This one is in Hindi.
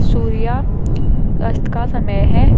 सूर्य अस्त का समय है।